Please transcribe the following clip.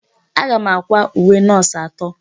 Aga m àkwá uwe nọọsụ atọ.